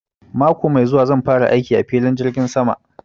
Mako mai zuwa zan fara aiki a filin jirgin sama